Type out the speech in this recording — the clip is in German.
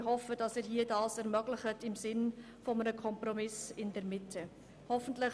Ich hoffe, dass Sie dies im Sinne eines Kompromisses in der Mitte ermöglichen.